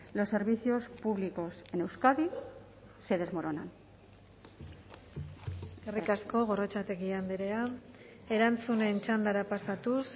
los servicios públicos en euskadi se desmoronan eskerrik asko gorrotxategi andrea erantzunen txandara pasatuz